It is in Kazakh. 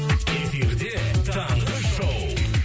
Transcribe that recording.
эфирде таңғы шоу